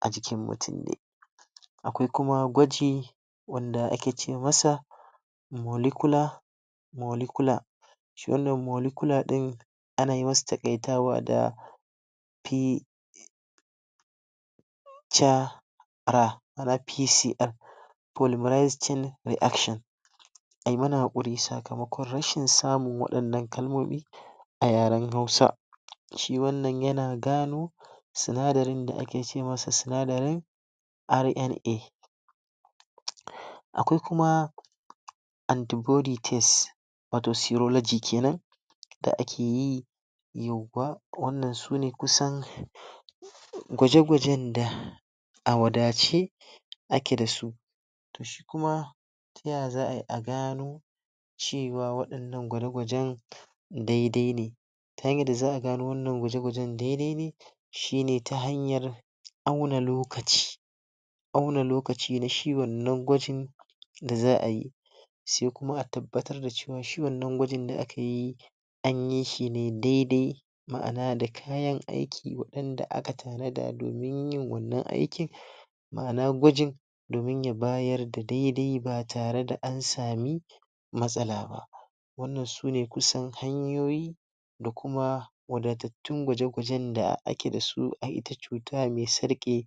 a jikin mutum de. Akwai kuma gwaji wanda ake ce masa molecular melecular shi wannan molecular din ana yi masa takaitawa da p ca ra ra PC reaction ayi mana hakuri sakamakon rashin samun wadannan kalmoni a yaren hausa shi wannan yana gano sunadarin da ake ce masa, sunadarin RNA. Akwai kuma antibody test wato syrology kenan da ake yi wanna sune kusan gwaje gwajen da a wadace ake da su kuma ta yaya za a yi a gano cewa wadannan gwaje gwajen dai dai ne ta hanyar da za a gano wannan gwaje gwajen dai dai ne shi ne ta hanyar auna lokaci auna lokaci na shi wannan gwajin da za a yi sai kuma a tabbatar da cewa shi wannan gwajin da aka yi, anyi shi ne dai dai ma'ana da kayan aiki wadanda aka tanada domin yin wannan aikin ma'ana gwajin domin ya bayar da daidai ba tare da an sami matsala ba. Wannan sune kusan hanyoyi da kuma wadadatun gwaje gwajen da ake da su a ita cutar me tsarke